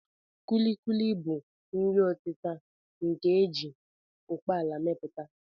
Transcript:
Kulikuli bụ nri ọtịta nke a ji ụkpaala emepụta